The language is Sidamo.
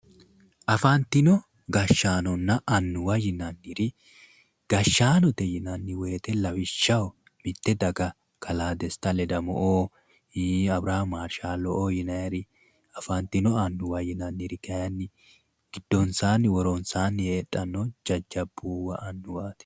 Afantino gashaanonna anuwa yinanniri, gashaanote yinanni woyiitte lawishshaho mitte daga kalaa desta ledamo'oo, abirham maarshaalo'oo yinayiiri. afantinno annuwa yinanniri kayiinni gidonsaanni woronsaanni heedhanno annuwati yaatte.